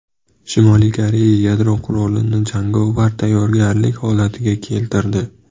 Shimoliy Koreya yadro qurolini jangovar tayyorgarlik holatiga keltirdi.